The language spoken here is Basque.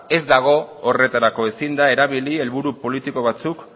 ez dago horretarako ezin da erabili helburu politiko batzuk